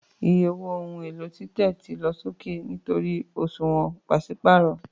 Iye owó ohun èlò títẹ̀ ti lọ sókè nítorí òṣùwọ̀n pàṣípààrọ̀